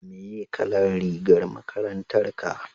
meye kalan rigar makarantar ka?